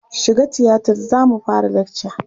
Shiga tiyatar za mu fara lakca!